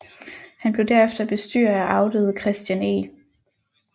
Han blev derefter bestyrer af afdøde Christian E